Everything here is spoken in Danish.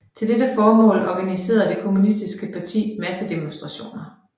Til dette formål organiserede det kommunistiske parti massedemonstrationer